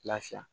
Lafiya